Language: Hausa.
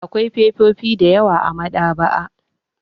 Akwai fefofi da yawa a maɗaba'a.